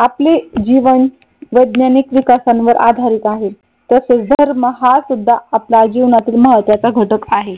आपले जीवन वैज्ञानिक विकासावर आधारित आहेत. तसेच धर्म हा सुद्धा आपला जीवनातील महत्त्वाचा घटक आहे.